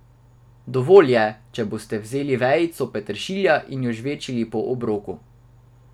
Dovolj je, če boste vzeli vejico peteršilja in jo žvečili po obroku.